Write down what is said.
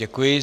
Děkuji.